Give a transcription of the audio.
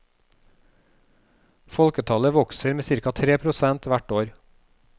Folketallet vokser med cirka tre prosent hvert år.